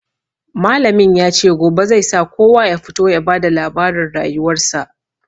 Malamin ya ce gobe zai sa kowa ya fito ya ba da labarin rayuwarsa.